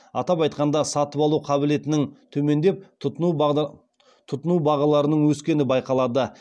атап айтқанда сатып алу қабілетінің төмендеп тұтыну бағаларының өскені байқалады